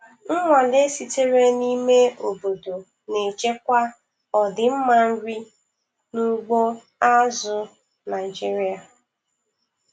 Nnwale sitere n'ime obodo na-echekwa ọdịmma nri n'ugbo azụ̀ Naịjiria.